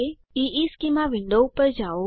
ઇશ્ચેમાં વિન્ડો પર જાઓ